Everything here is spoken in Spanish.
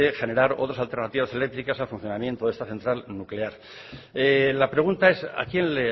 generar otras alternativas eléctricas al funcionamiento de esta central nuclear la pregunta es a quién